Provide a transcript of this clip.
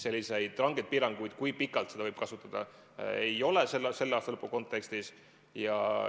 Selliseid rangeid piiranguid, kui pikalt seda võib kasutada, selle aasta lõpu kontekstis ei ole.